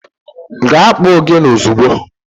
Gaa kpọọ ogene ozugbo!